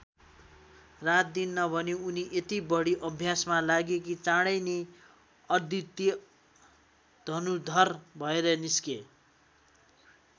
रातदिन नभनी उनी यति बढी अभ्यासमा लागे कि चाडै नै अद्वितीय धनुर्धर भएर निस्के।